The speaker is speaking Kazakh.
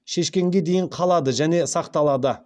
шешкенге дейін қалады және сақталады